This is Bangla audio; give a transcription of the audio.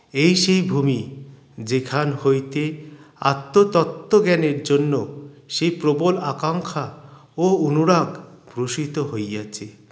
এই সেই ভূমি যেখান হইতে আত্ম তত্ত্ব জ্ঞানের জন্য সেই প্রবল আকাঙ্ক্ষা ও অনুরাগ প্রসিত হইয়াছে